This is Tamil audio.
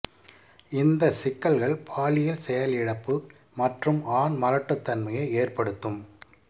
இந்த சிக்கல்கள் பாலியல் செயலிழப்பு மற்றும் ஆண் மலட்டுத்தன்மையை ஏற்படுத்தும்